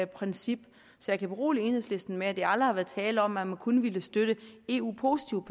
princip så jeg kan berolige enhedslisten med at der aldrig har været tale om at man kun ville støtte eu positive